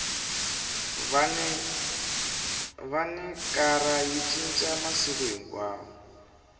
vhanicara yi cinca masiku hinkwawo